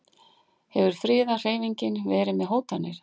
Hefur friðarhreyfingin verið með hótanir?